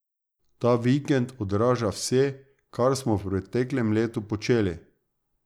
Ta vikend odraža vse, kar smo v preteklem letu počeli.